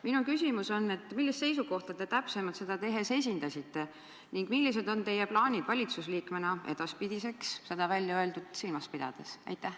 " Minu küsimus on: millist seisukohta te täpsemalt seda tehes esindasite ning millised on teie plaanid valitsusliikmena edaspidiseks, seda väljaöeldut silmas pidades?